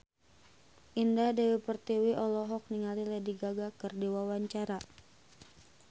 Indah Dewi Pertiwi olohok ningali Lady Gaga keur diwawancara